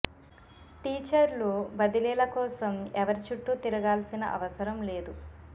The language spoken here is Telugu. టీచర్లు బదిలీల కోసం ఎవరి చుట్టూ తిరగా ల్సిన అవసరం లేదు